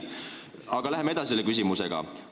Aga läheme selle küsimusega edasi.